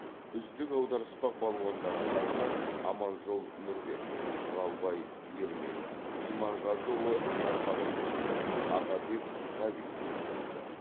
үздік аударыспақ балуандары атағына аманжол нұрбек құралбай ермек иманғазыұлы нармағанбет ағабек ғабит ие болды